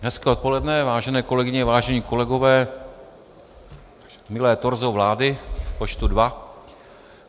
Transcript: Hezké odpoledne, vážené kolegyně, vážení kolegové, milé torzo vlády v počtu dva.